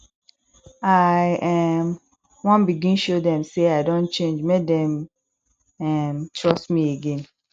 i um wan begin show dem sey i don change make dem um trust me again